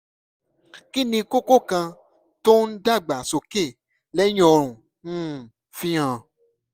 kí ni kókó kan tó ń dàgbà sókè lẹ́yìn ọrùn um fi hàn?